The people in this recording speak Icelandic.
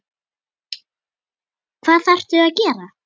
Hvað þarftu að gera?